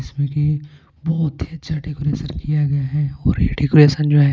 इसमें कि बहुत ही अच्छा डेकोरेशन किया गया है और ये डेकोरेशन जो है--